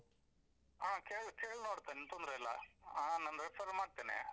ಹಾ ಕೇಳ್~ ಕೇಳ್ನೋಡ್ತೇನೆ ತೊಂದ್ರೆ ಇಲ್ಲ ಆ ನಾನ್ refer ಮಾಡ್ತೇನೆ.